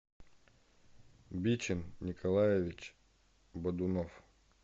бичин николаевич бодунов